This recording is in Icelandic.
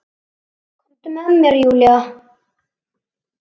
Komdu með mér Júlía.